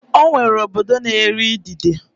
Ọ nwere obodo na-eri idide.